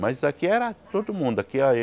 Mas isso aqui era todo mundo aqui era.